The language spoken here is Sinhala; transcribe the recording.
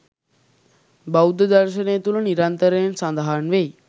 බෞද්ධ දර්ශනය තුළ නිරන්තරයෙන් සඳහන් වෙයි.